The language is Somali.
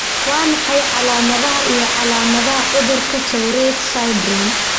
Waa maxay calaamadaha iyo calaamadaha cudurka Tourette syndrome?